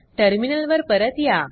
terminal वर परत या